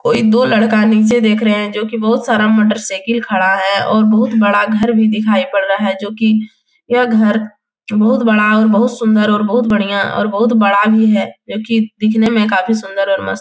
कोई दो लड़का नीचे देख रहा है। जो की बहुत सारा मोटरसाइकिल खड़ा है और बहुत बड़ा घर भी दिखाई पड़ रहा है। जो की यह घर जो बहुत बड़ा और बहुत सुंदर और बहुत बढियाँ और बहुत बड़ा भी है। जो की देखने में काफी संदर और मस्त --